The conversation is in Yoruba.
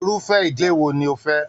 Irufẹ ìdílé wo ni o fẹ?